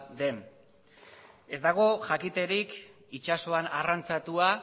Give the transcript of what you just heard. den ez dago jakiterik itsasoan arrantzatua